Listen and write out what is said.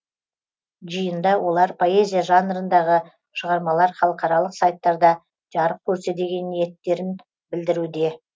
жиында олар поэзия жанрындағы шығармалар халықаралық сайттарда жарық көрсе деген ниеттерін білдіруде